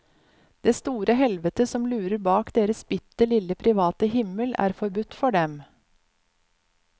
Det store helvetet som lurer bak deres bitte lille private himmel er forbudt for dem.